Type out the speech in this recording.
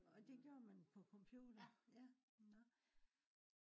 og det gjorde man på computer ja nå